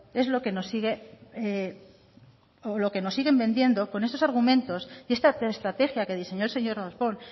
es lo que nos siguen vendiendo con estos argumentos y esta estrategia que diseñó el señor darpón